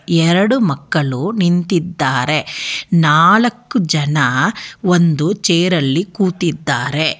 ಎರಡು ಮಕ್ಕಳು ನಿಂತಿದ್ದಾರೆ ನಾಲಕ್ಕು ಜನ ಒಂದು ಚೇರಲ್ಲಿ ಕೂತಿದ್ದಾರೆ.